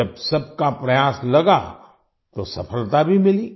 जब सबका प्रयास लगा तो सफलता भी मिली